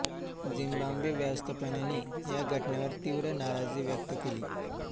Zimbabwe व्यवस्थापनेनी या घटनेवर तीव्र नाराजी व्यक्त केली